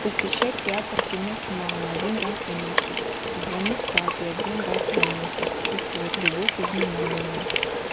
посещать театр кино с мамой один раз в месяц звонить папе один раз в месяц чувствовать любовь и внимание